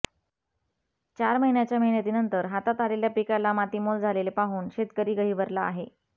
चार महिन्याच्या मेहनतीनंतर हातात आलेल्या पिकाला मातीमोल झालेले पाहून शेतकरी गहिवरला आहे